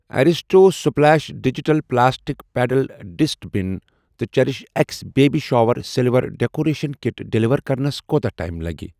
Aristo splash digital plastic pedal dust bin تہٕ cherish X baby shower silver decoration kit deliver کرنَس کوتاہ time لَگہِ۔